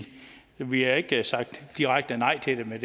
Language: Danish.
vi har ikke sagt direkte nej til det med